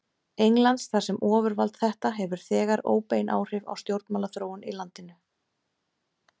Englands, þar sem ofurvald þetta hefur þegar óbein áhrif á stjórnmálaþróun í landinu.